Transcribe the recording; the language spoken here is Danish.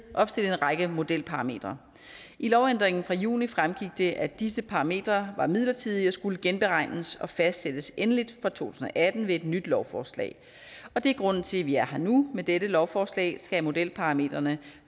opstillet en række modelparametre i lovændringen fra juni fremgik det at disse parametre var midlertidige og skulle genberegnes og fastsættes endeligt for to tusind og atten ved et nyt lovforslag og det er grunden til at vi er her nu med dette lovforslag skal modelparametrene